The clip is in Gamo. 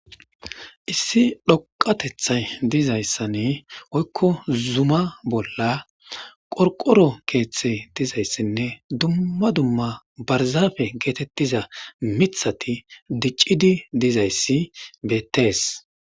Issi loqatethay dizayssane oykko zuma bolla qorqoro keeththe dizayssinne dumma dumma barzafe geetettiza mithati diccidi dizayssi bettees.